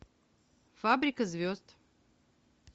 фабрика звезд